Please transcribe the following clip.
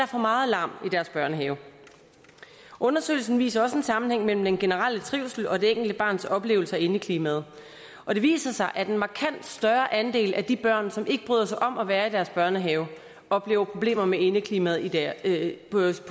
for meget larm i deres børnehave undersøgelsen viser også en sammenhæng mellem den generelle trivsel og det enkelte barns oplevelse af indeklimaet og det viser sig at en markant større andel af de børn som ikke bryder sig om at være i deres børnehave oplever problemer med indeklimaet børn der ikke